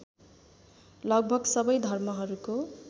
लगभग सबै धर्महरूको